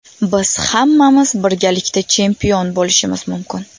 Biz hammamiz birgalikda chempion bo‘lishimiz mumkin.